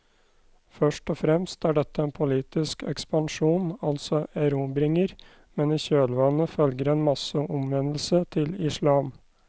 Først og fremst er dette en politisk ekspansjon, altså erobringer, men i kjølvannet følger en masseomvendelse til islam.